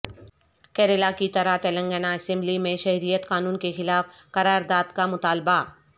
کیرالا کی طرح تلنگانہ اسمبلی میں شہریت قانون کے خلاف قرارداد کا مطالبہ